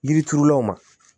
Yiri turulaw ma